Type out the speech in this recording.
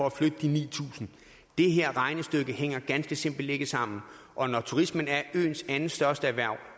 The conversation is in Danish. at flytte de ni tusind det her regnestykke hænger ganske simpelt ikke sammen og når turisme er øens næststørste erhverv